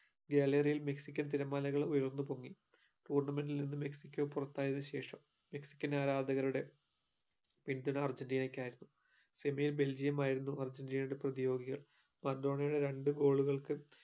gallery ൽ Mexican തിരമാലകൾ ഉയർന്നു പൊങ്ങി tournament ഇൽ നിന്ന് മെക്സിക്ക പൊറത്തായ ശേഷം Mexican ആരാധകരുടെ പിന്തുണ അർജന്റീനക്കായായിരുന്നു semi belgium ആയിരുന്നു അർജന്റീനയുടെ പ്രതിയോഗികൾ, മറഡോണയുടെ രണ്ട് goal ഉകൾക്ക്